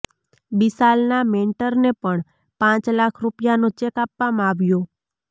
બિશાલના મેન્ટરને પણ પાંચ લાખ રુપિયાનો ચેક આપવામાં આવ્યો